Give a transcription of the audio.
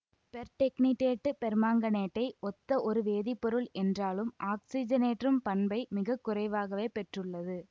பெர்டெக்னிடேட்டு பெர்மாங்கனேட்டை ஒத்த ஒரு வேதிப்பொருள் என்றாலும் ஆக்சிஜனேற்றும் பண்பை மிகக்குறைவாகவே பெற்றுள்ளது